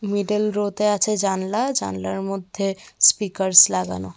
Middle row' তে আছে জানলা। জানলার মধ্যে স্পিকারস লাগানো।